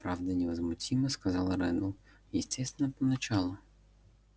правда невозмутимо сказал реддл естественно поначалу